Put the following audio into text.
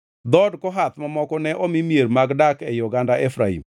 Dhood Kohath mamoko ne omi mier mag dak ei oganda Efraim.